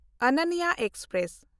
ᱚᱱᱚᱱᱱᱟ express